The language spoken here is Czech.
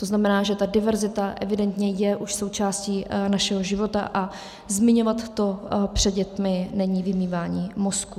To znamená, že ta diverzita evidentně je už součástí našeho života, a zmiňovat to před dětmi není vymývání mozků.